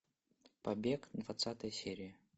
побег двадцатая серия